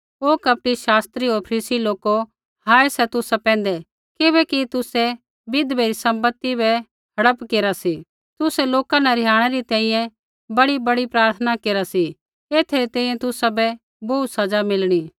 ओ कपटी शास्त्री होर फरीसी लोको हाय सा तुसा पैंधै किबैकि तुसै विधवै री सम्पति बै हड़प केरा सी तुसै लोका न रिहाणै री तैंईंयैं बड़ीबड़ी प्रार्थना केरा सी एथै री तैंईंयैं तुसाबै बोहू सज़ा मिलणी